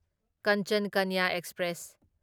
Kanchan Kanya express